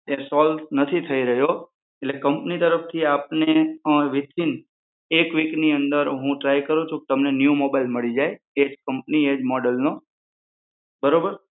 એ solve નથી થઇ રહ્યો એટલે કંપની તરફથી આપને વીથીન એક વિકની અંદર હું ટ્રાય કરું છુ કે તમને ન્યુ mobile મળી જાય એજ કમ્પની એજ મોડેલનો બરોબર.